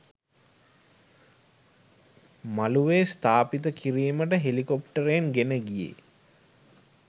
මළුවේ ස්ථාපිත කිරිමට හෙලිකොප්ටරයෙන් ගෙන ගියේ